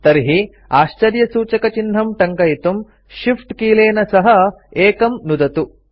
तर्हि आश्चर्यसूचकचिह्नं टङ्कयितुं Shift कीलेन सह १ नुदतु